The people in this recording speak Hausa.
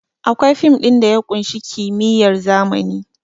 Akwai fin ɗin da ya ƙunshi kimiyyar zamani